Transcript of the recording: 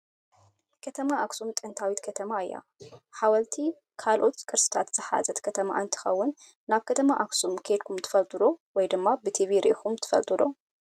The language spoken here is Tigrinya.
ከተማ ኣክሱም ጥንታዊት ከተማ እያ። ሓወልቲ ካልኦት ቅርስታ ዝሓዘት ከተማ እንትከውን ናብ ከተማ ኣክሱም ከይድኩም ትፈልጡ ዶ ወይ ድማ ብቲቪ ሪእኩም ትፈልጡ ዶ?